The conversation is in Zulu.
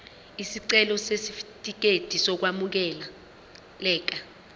isicelo sesitifikedi sokwamukeleka